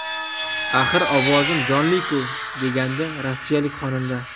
Axir ovozim jonli-ku!”, degandi rossiyalik xonanda.